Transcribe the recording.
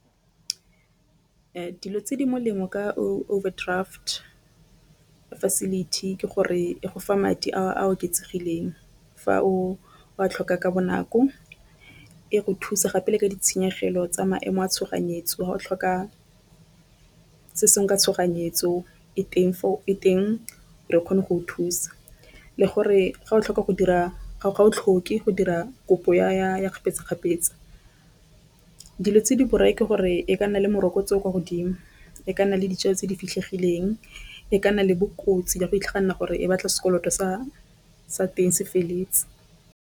Dilo tse di molemo ka overdraft facility ke gore e go fa madi a a oketsegileng, fa o a tlhoka ka bonako e re thusa gape le ka ditshenyegelo tsa maemo a tshoganyetso ga o tlhoka se se nka tshoganyetso, e teng re kgone go o thusa, le gore ga o tlhoka go dira ga ga o tlhoke go dira kopo ya kgapetsa-kgapetsa. Dilo tse di borai ke gore e ka nna le morokotso o o kwa godimo e ka nna le dijalo tse di fitlhegileng e ka nna le bokotsi ya go itlhaganela gore e batla sekoloto sa sa teng se feleletse.